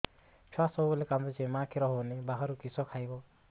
ଛୁଆ ସବୁବେଳେ କାନ୍ଦୁଚି ମା ଖିର ହଉନି ବାହାରୁ କିଷ ଖାଇବ